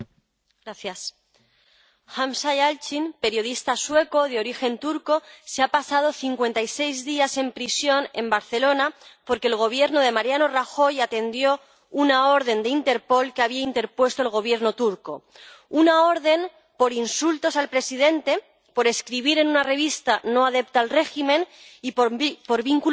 Señora presidenta, Hamza Yalçin, periodista sueco de origen turco ha pasado 56 días en prisión en Barcelona porque el Gobierno de Mariano Rajoy atendió una orden de Interpol que había interpuesto el Gobierno turco una orden por insultos al presidente, por escribir en una revista no adepta al régimen y por vínculos terroristas